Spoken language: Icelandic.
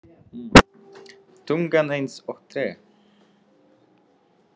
Tungan eins og tré.